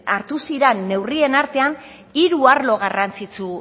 hartu ziran neurrien artean hiru arlo garrantzitsu